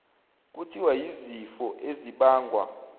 kuthiwa yizifo ezibangwa